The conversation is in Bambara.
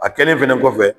A kɛlen fɛnɛ kɔfɛ